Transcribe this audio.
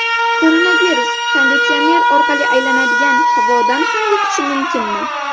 Koronavirus konditsioner orqali aylanadigan havodan ham yuqishi mumkinmi?